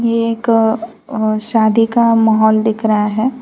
एक अ शादी का माहौल दिख रहा है।